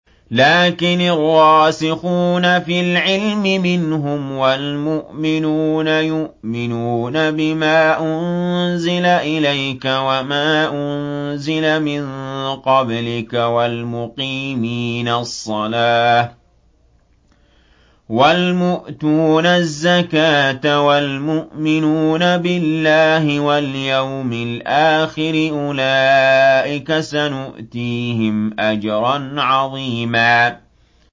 لَّٰكِنِ الرَّاسِخُونَ فِي الْعِلْمِ مِنْهُمْ وَالْمُؤْمِنُونَ يُؤْمِنُونَ بِمَا أُنزِلَ إِلَيْكَ وَمَا أُنزِلَ مِن قَبْلِكَ ۚ وَالْمُقِيمِينَ الصَّلَاةَ ۚ وَالْمُؤْتُونَ الزَّكَاةَ وَالْمُؤْمِنُونَ بِاللَّهِ وَالْيَوْمِ الْآخِرِ أُولَٰئِكَ سَنُؤْتِيهِمْ أَجْرًا عَظِيمًا